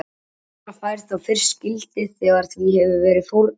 Líf þeirra fær þá fyrst gildi þegar því hefur verið fórnað.